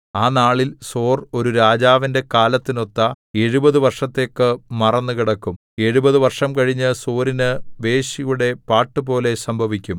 ആ നാളിൽ സോർ ഒരു രാജാവിന്റെ കാലത്തിനൊത്ത എഴുപത് വർഷത്തേക്ക് മറന്നുകിടക്കും എഴുപത് വർഷം കഴിഞ്ഞ് സോരിനു വേശ്യയുടെ പാട്ടുപോലെ സംഭവിക്കും